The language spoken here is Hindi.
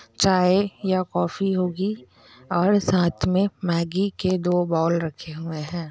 चाय या कॉफी होगी और साथ में मैगी के दो बाउल रखे हुए है।